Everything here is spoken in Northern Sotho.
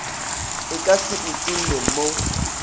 e ka se utolle mo